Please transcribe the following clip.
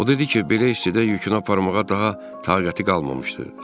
O dedi ki, belə istidə yükünü aparmağa daha taqəti qalmamışdı.